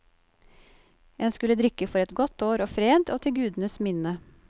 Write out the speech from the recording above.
En skulle drikke for et godt år og fred, og til gudenes minne.